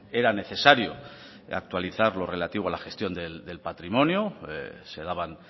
era necesario actualizar lo relativo a la gestión del patrimonio se daban